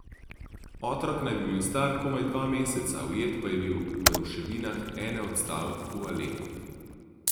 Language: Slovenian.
Otrok naj bi bil star komaj dva meseca, ujet pa je bil v ruševinah ene od stavb v Alepu.